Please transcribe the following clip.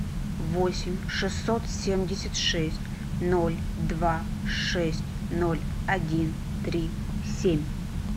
восемь шестьсот семьдесят шесть ноль два шесть ноль один три семь